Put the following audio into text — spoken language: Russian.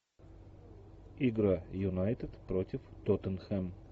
игра юнайтед против тоттенхэм